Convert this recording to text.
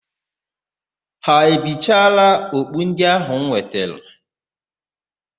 Ha ebichela okpu ndị áhụ̀ m wetere?